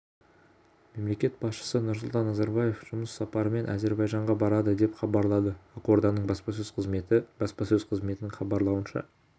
мемлекет басшысы нұрсұлтан назарбаев жұмыс сапарымен әзербайжанға барады деп хабарлады ақорданың баспасөз қызметі баспасөз қызметінің хабарлауынша